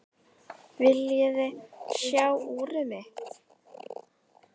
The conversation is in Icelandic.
Viljiði sjá úrið mitt?